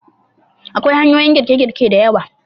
Akwai hanyoyin girke-girke da yawa.